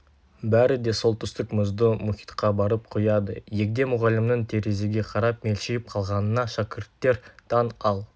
бәрі де солтүстік мұзды мұхитқа барып құяды егде мұғалімнің терезеге қарап мелшиіп қалғанына шәкірттер таң ал